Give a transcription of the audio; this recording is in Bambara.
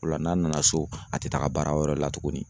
O la n'a nana so a ti taga baara wɛrɛ la tuguni.